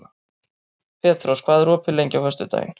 Petrós, hvað er opið lengi á föstudaginn?